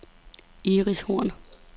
Iris Horn